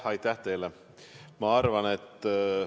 Aitäh teile!